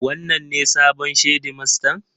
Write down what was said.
Wanene sabon shedimastan?